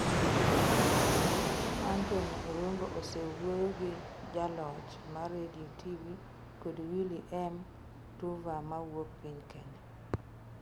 Anthony Irungu osewuoyo gi jaloch mar redio kod TV Willy M Tuva mawuok piny Kenya.